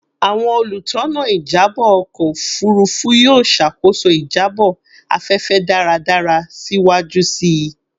Awọn olutona ijabọ ọkọ ofurufu yoo ṣakoso ijabọ afẹfẹ daradara siwaju sii